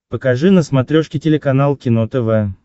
покажи на смотрешке телеканал кино тв